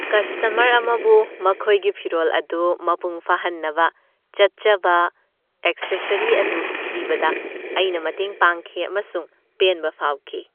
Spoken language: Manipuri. ꯀꯁꯇꯃꯔ ꯑꯃꯕꯨ ꯃꯈꯣꯏꯒꯤ ꯐꯤꯔꯣꯜ ꯑꯗꯨ ꯃꯄꯨꯡ ꯐꯥꯍꯟꯅꯕ ꯆꯠꯆꯕ ꯑꯦꯛꯁꯦꯁꯔꯤ ꯑꯗꯨ ꯊꯤꯕꯗ ꯑꯩꯅ ꯃꯇꯦꯡ ꯄꯥꯡꯈꯤ, ꯑꯃꯁꯨꯡ ꯄꯦꯟꯕ ꯐꯥꯎꯈꯤ꯫